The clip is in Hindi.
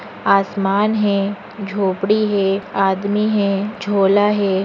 आसमान हे झोपडी हे आदमी हे झोला हे ।